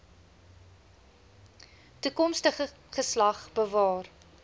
toekomstige geslag bewaar